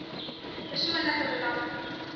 persoonlike belasting